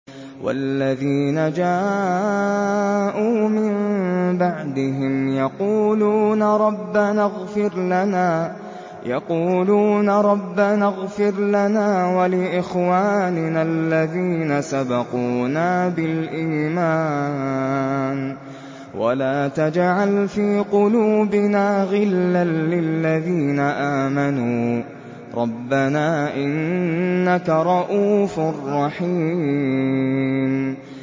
وَالَّذِينَ جَاءُوا مِن بَعْدِهِمْ يَقُولُونَ رَبَّنَا اغْفِرْ لَنَا وَلِإِخْوَانِنَا الَّذِينَ سَبَقُونَا بِالْإِيمَانِ وَلَا تَجْعَلْ فِي قُلُوبِنَا غِلًّا لِّلَّذِينَ آمَنُوا رَبَّنَا إِنَّكَ رَءُوفٌ رَّحِيمٌ